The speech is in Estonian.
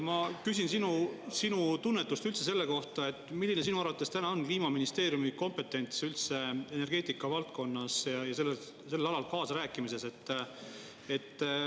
Ma küsin sinu sinu tunnetust üldse selle kohta, milline sinu arvates täna on Kliimaministeeriumi kompetents üldse energeetika valdkonnas sellel alal kaasarääkimises.